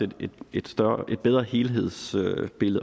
et bedre helhedsbillede